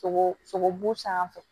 Sogo sogobu sanfɛ